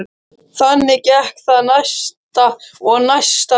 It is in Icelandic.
Þannig gekk það næsta og næsta dag.